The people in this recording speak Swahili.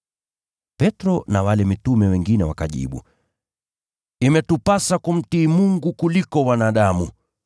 Petro na wale mitume wengine wakajibu, “Imetupasa kumtii Mungu kuliko wanadamu.